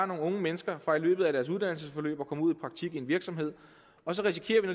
nogle unge mennesker fra i løbet af deres uddannelsesforløb at komme ud i praktik i en virksomhed og så risikerer